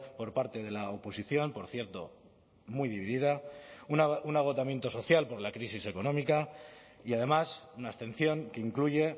por parte de la oposición por cierto muy dividida un agotamiento social por la crisis económica y además una abstención que incluye